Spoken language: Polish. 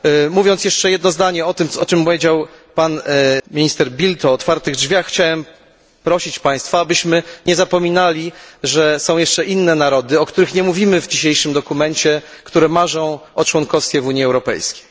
Mówiąc jeszcze jedno zdanie o tym, o czym powiedział pan minister Bildt o otwartych drzwiach, chciałem prosić państwa, abyśmy nie zapominali, że są jeszcze inne narody, o których nie mówimy w dzisiejszym dokumencie, które marzą o członkostwie w Unii Europejskiej.